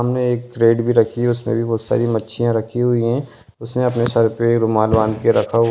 सामने एक क्रेट भी रखी है उसमें भी बहुत सारी मच्छियाँ रखी हुई है उसने अपने सर पे रुमाल बांध के रखा --